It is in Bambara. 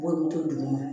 B'olu to duguma